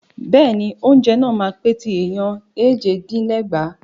Bẹ́ẹ̀ni, oúnjẹ náà máa pè ti ẹ̀ẹ̀yàn éje dín ní ẹgbàá.